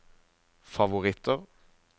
favoritter